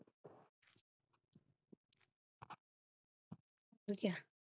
ਹੋਰ ਕਿਆ